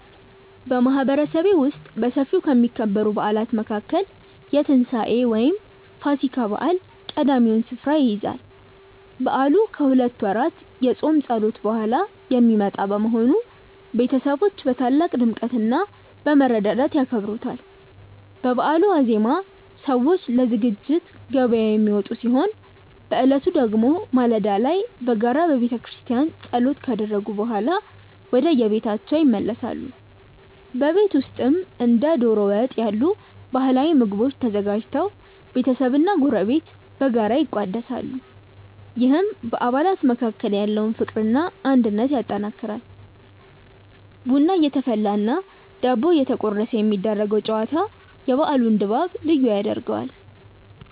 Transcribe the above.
በማህበረሰቤ ውስጥ በሰፊው ከሚከበሩ በዓላት መካከል የትንሳኤ (ፋሲካ) በዓል ቀዳሚውን ስፍራ ይይዛል። በዓሉ ከሁለት ወራት የጾም ጸሎት በኋላ የሚመጣ በመሆኑ፣ ቤተሰቦች በታላቅ ድምቀትና በመረዳዳት ያከብሩታል። በበዓሉ ዋዜማ ሰዎች ለዝግጅት ገበያ የሚወጡ ሲሆን፣ በዕለቱ ደግሞ ማለዳ ላይ በጋራ በቤተክርስቲያን ጸሎት ካደረጉ በኋላ ወደየቤታቸው ይመለሳሉ። በቤት ውስጥም እንደ ዶሮ ወጥ ያሉ ባህላዊ ምግቦች ተዘጋጅተው ቤተሰብና ጎረቤት በጋራ ይቋደሳሉ፤ ይህም በአባላት መካከል ያለውን ፍቅርና አንድነት ያጠናክራል። ቡና እየተፈላና ዳቦ እየተቆረሰ የሚደረገው ጨዋታ የበዓሉን ድባብ ልዩ ያደርገዋል።